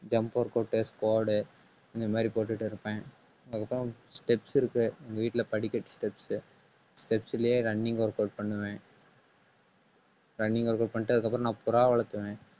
jump work test board இந்த மாறி போட்டுட்டு இருப்பேன். அதுக்குத்தான் steps இருக்கு. எங்க வீட்டுல படிக்கட்டு steps உ steps லயே running workout பண்ணுவேன் running workout பண்ணிட்டு அதுக்கப்புறம் நான் புறா வளர்த்தவன்